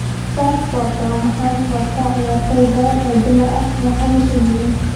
(Sky Sports) Waa maxay sababta ciyaartoy badan oo dumar ah ay khaniis u yihiin?